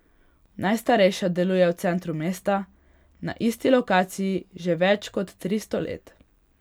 Najstarejša deluje v centru mesta na isti lokaciji že več kot tristo let.